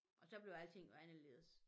Og så blev alting jo anderledes